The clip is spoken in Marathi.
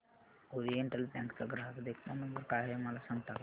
ओरिएंटल बँक चा ग्राहक देखभाल नंबर काय आहे मला सांगता का